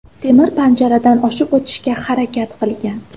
temir panjaradan oshib o‘tishga harakat qilgan.